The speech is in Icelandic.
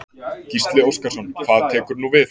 Gísli Óskarsson: Hvað tekur nú við?